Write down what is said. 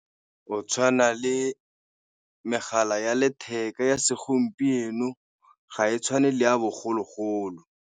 Go tshwana le megala ya letheka ya segompieno ga e tshwane le ya bogologolo.